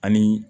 Ani